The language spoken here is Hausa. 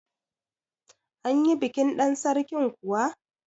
Anyi bikin ɗan Sarkin kuwa?